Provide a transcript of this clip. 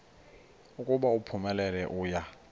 ukuba uphumelele uya